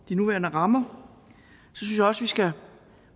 de nuværende rammer synes jeg også vi skal